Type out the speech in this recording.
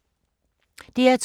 DR2